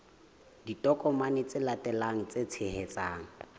ditokomane tse latelang tse tshehetsang